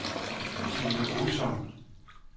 Tine Olsson